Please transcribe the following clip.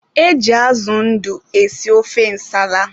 E ji azụ ndụ esi ofe nsala.